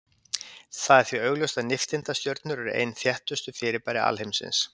Það er því augljóst að nifteindastjörnur eru ein þéttustu fyrirbæri alheimsins.